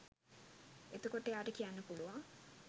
එතකොට එයාට කියන්න පුලුවන්